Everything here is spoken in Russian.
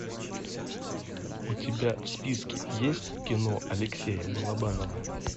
у тебя в списке есть кино алексея балабанова